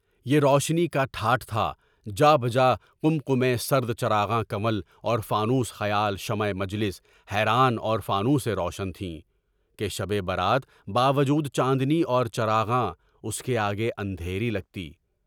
یہ روشنی کا ٹھاٹھ تھا۔ جا بجا قیمتی سرد چراغاں، کنول اور فانوس خیال، شمے مجلس حیران اور فانوسین روشن تھیں کہ شب برات کے باوجود، جاندنی اور چراغاں کے آگے اندھیری لگتی۔